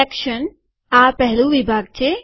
section આ પહેલું વિભાગ છે